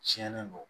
Tiɲɛnen do